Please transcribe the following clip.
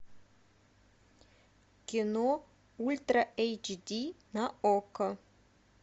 кино ультра эйч ди на окко